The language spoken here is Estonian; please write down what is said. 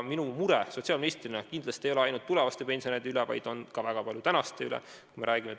Mina ei muretse sotsiaalministrina kindlasti ainult tulevaste pensionäride pärast, vaid väga palju ka tänaste pensionäride pärast.